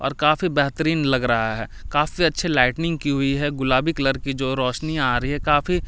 काफी बेहतरीन लग रहा है काफी अच्छे लाइटिंग की हुई है गुलाबी कलर की जो रोशनी आ रही है काफी।